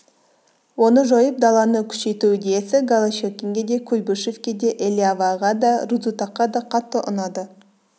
оны жойып даланы күшейту идеясы голощекинге де куйбышевке де элиаваға да рудзутакқа да қатты ұнады